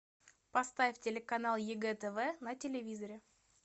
поставь телеканал егэ тв на телевизоре